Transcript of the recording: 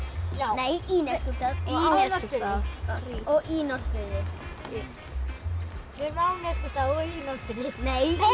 nei í Neskaupstað og í Norðfirði við erum á Neskaupstað og í Norðfirði nei